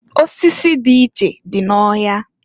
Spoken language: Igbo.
Osisi dị iche dị n'ọhịa.